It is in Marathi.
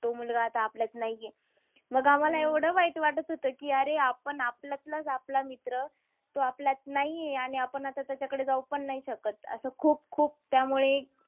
तो मुलगा आता आपल्यात नाहीए. मग आम्हाला एवढं वाईट वाटत होतं की अरे आपण आपल्यातलाच आपला मित्र, तो आपल्यात नाहीए. आणि आता आपण त्याच्याकडे जाऊ पण नाही शकत. असं खूप, खूप. त्यामुळे